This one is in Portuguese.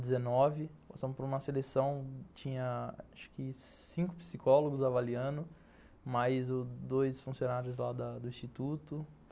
Passamos por uma seleção, tinha acho que cinco psicólogos avaliando, mais dois funcionários lá da do instituto.